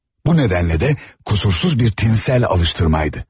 Bu nədənlə də qüsursuz bir tinnsel alıştırmaydı.